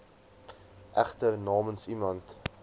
egter namens iemand